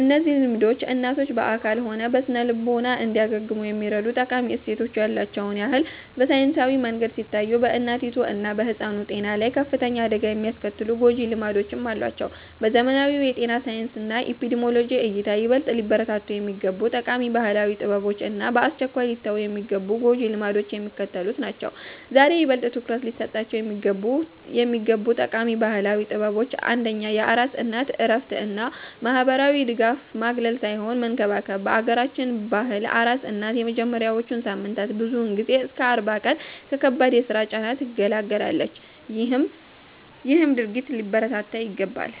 እነዚህ ልምዶች እናቶች በአካልም ሆነ በስነ-ልቦና እንዲያገግሙ የሚረዱ ጠቃሚ እሴቶች ያሉዋቸውን ያህል፣ በሳይንሳዊ መንገድ ሲታዩ በእናቲቱ እና በሕፃኑ ጤና ላይ ከፍተኛ አደጋ የሚያስከትሉ ጎጂ ልማዶችም አሏቸው። በዘመናዊው የጤና ሳይንስና ኤፒዲሚዮሎጂ እይታ፣ ይበልጥ ሊበረታቱ የሚገቡ ጠቃሚ ባህላዊ ጥበቦች እና በአስቸኳይ ሊተዉ የሚገቡ ጎጂ ልማዶች የሚከተሉት ናቸው፦. ዛሬ ይበልጥ ትኩረት ሊሰጣቸው የሚገቡ ጠቃሚ ባህላዊ ጥበቦች አንደኛ የአራስ እናት እረፍት እና ማህበራዊ ድጋፍ ማግለል ሳይሆን መንከባከብ፦ በአገራችን ባህል አራስ እናት የመጀመሪያዎቹን ሳምንታት ብዙውን ጊዜ እስከ 40 ቀን ከከባድ የስራ ጫና ትገለላለች ይሄም ድርጊት ሊበረታታ ይገባል።